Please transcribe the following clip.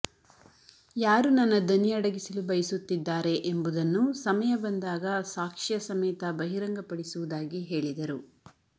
ಯಾರು ನನ್ನ ದನಿ ಅಡಗಿಸಲು ಬಯಸುತ್ತಿದ್ದಾರೆ ಎಂಬುವುದನ್ನು ಸಮಯ ಬಂದಾಗ ಸಾಕ್ಷ್ಯ ಸಮೇತ ಬಹಿರಂಗಪಡಿಸುವುದಾಗಿ ಹೇಳಿದರು